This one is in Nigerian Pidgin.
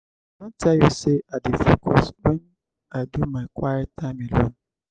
i don tell you sey i dey focus wen i do my quiet time alone.